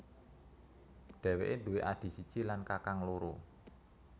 Dheweke nduwe adhi siji lan kakang loro